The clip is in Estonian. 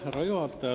Härra juhataja!